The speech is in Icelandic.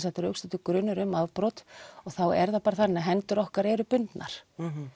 rökstuddur grunur um afbrot og þá er það bara þannig að hendur okkar eru bundnar